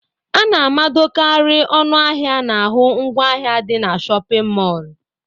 A na-amadokarị ọnụ ahịa n'ahụ ngwa ahịa dị na shọpịn mọlụ.